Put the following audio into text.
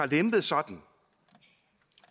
lempet sådan